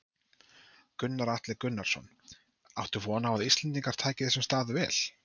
Gunnar Atli Gunnarsson: Áttu von á að Íslendingar taki þessum stað vel?